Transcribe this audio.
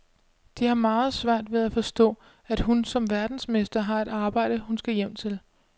De har meget svært ved at forstå, at hun som verdensmester har et arbejde, hun skal hjem til.